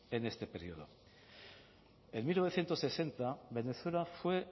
en este período en mil novecientos sesenta venezuela fue